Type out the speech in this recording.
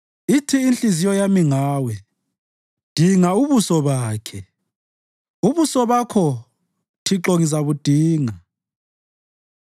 Ithi inhliziyo yami Ngawe, “Dinga ubuso bakhe!” Ubuso Bakho, Thixo ngizabudinga.